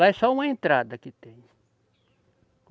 Lá é só uma entrada que tem.